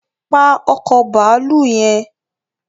Pa ọkọ̀ bàálù yẹn